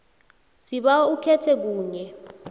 sibawa ukhethe kunye